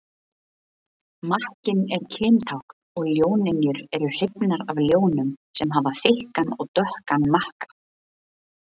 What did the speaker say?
Makkinn er kyntákn og ljónynjurnar eru hrifnari af ljónum sem hafa þykkan og dökkan makka.